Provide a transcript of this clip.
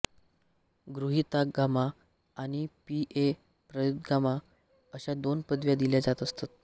गृहीतागमा आणि पी ए प्रदेयागमा अशा दोन पदव्या दिल्या जात असत